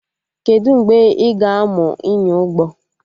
Kedụ mgbe ị ga-amụ ịnya ụgbọ?